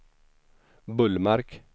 Bullmark